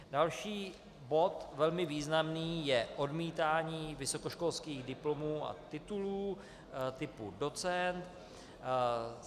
Další bod, velmi významný, je odmítání vysokoškolských diplomů a titulů typu docent.